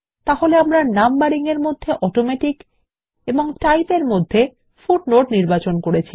তাহলে আমরা নাম্বারিং এর মধ্যে অটোমেটিক এবং টাইপ এর মধ্যে ফুটনোট নির্বাচন করেছি